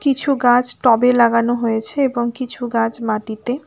কিছু গাছ টবে লাগানো হয়েছে এবং কিছু গাছ মাটিতে।